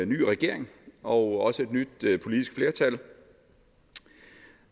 ny regering og også et nyt politisk flertal